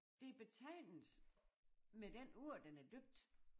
Det betegnes med den ord den er døbt